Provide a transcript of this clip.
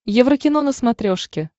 еврокино на смотрешке